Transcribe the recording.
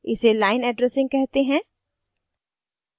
इसे line addressing कहते हैं